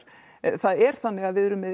það er þannig að við erum með